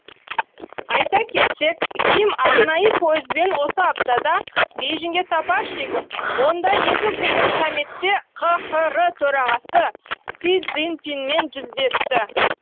айта кетсек ким арнайы пойызбен осы аптада бейжіңге сапар шегіп онда екікүндік саммитте қхр төрағасы си цзиньпинмен жүздесті